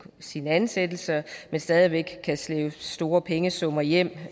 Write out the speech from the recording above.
sin ansættelse men stadig væk kan slæbe store pengesummer hjem